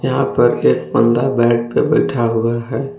यहां पर एक बंदा बैट पे बैठा हुआ है।